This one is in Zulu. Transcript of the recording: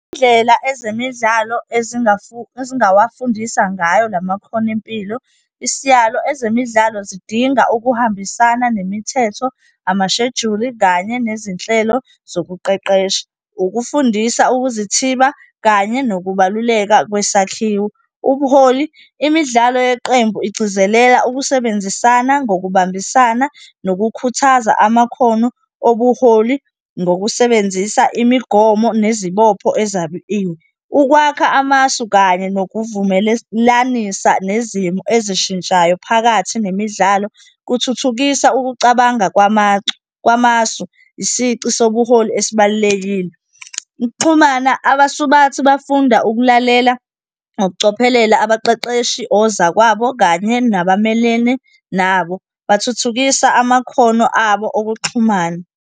Indlela ezemidlalo ezingawafundisa ngayo lamakhono empilo. Isiyalo, ezemidlalo zidinga ukuhambisana nemithetho, amashejuli kanye nezinhlelo zokuqeqesha, ukufundisa ukuzithiba kanye nokubaluleka kwesakhiwo. Ubuholi, imidlalo yeqembu igcizelela ukusebenzisana ngokubambisana nokukhuthaza amakhono obuholi ngokusebenzisa imigomo nezibopho ezabiwe. Ukwakha amasu kanye nokuvumelelanisa nezimo ezishintshayo phakathi nemidlalo, kuthuthukisa ukucabanga kwamasu, isici sobuholi esibalulekile. Ukuxhumana, abasubathi bafunda ukulalela ngokucophelela, abaqeqeshi, ozakwabo kanye nabamelene nabo. Bathuthukisa amakhono abo okuxhumana.